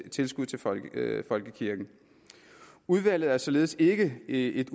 tilskud til folkekirken udvalget er således ikke et